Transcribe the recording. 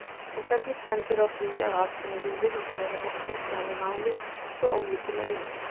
En hvernig stendur á því að atvinnulífið og Seðlabankinn sjái málið svo ólíkum augum?